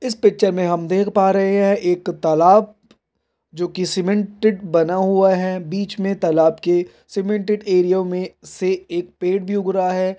इस पिक्चर में हम देख पा रहे हैं एक तालाब जो कि सीमेंटेड बना हुआ है बीच में तालाब के सीमेंटेड एरिया में से एक पेड़ भी उग रहा है ।